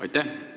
Aitäh!